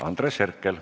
Andres Herkel.